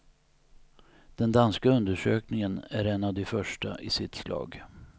Den danska undersökningen är en av de första i sitt slag.